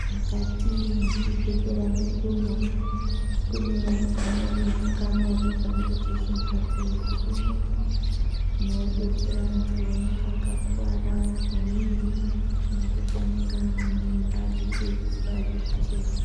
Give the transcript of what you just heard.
Mukati mezvibhedhlera mwedu mwo kune amweni zvikamuri kana zvimbatso zvirimo zvinodetsera antu anenge akakuwara maningi nekuti anenge ane mimba eida kuiswa zvekuchekwa.